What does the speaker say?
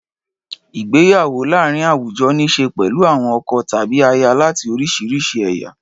Ìgbéyàwó láàárín àwùjọ ní í ṣe pẹ̀lú àwọn ọkọ tàbí aya láti oríṣiríṣi ẹ̀yà.